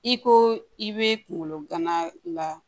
I ko i be kunkolo gana la